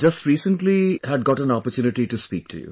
Just recently had got an opportunity to speak to you